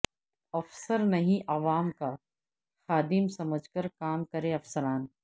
افسر نہیں عوام کا خاد م سمجھ کر کام کریں افسران